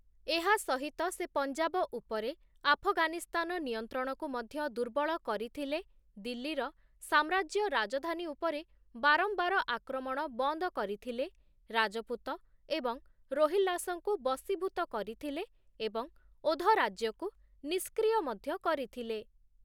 ଏହା ସହିତ ସେ ପଞ୍ଜାବ ଉପରେ ଆଫଗାନିସ୍ତାନ ନିୟନ୍ତ୍ରଣକୁ ମଧ୍ୟ ଦୁର୍ବଳ କରିଥିଲେ, ଦିଲ୍ଲୀର ସାମ୍ରାଜ୍ୟ ରାଜଧାନୀ ଉପରେ ବାରମ୍ବାର ଆକ୍ରମଣ ବନ୍ଦ କରିଥିଲେ, ରାଜପୁତ ଏବଂ ରୋହିଲ୍ଲାସଙ୍କୁ ବଶୀଭୂତ କରିଥିଲେ ଏବଂ ଓଧ ରାଜ୍ୟକୁ ନିଷ୍କ୍ରିୟ ମଧ୍ଯ କରିଥିଲେ ।